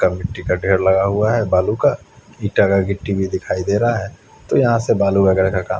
का ढेर लगा हुआ है बालू का ईटा का गिट्टी भी दिखाई दे रहा है तो यहा से बालू वगेरा का काम --